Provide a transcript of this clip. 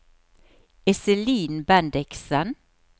Iselin Bendiksen